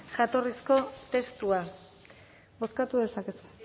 jatorrizko testua bozkatu dezakezue